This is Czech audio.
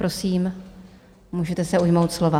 Prosím, můžete se ujmout slova.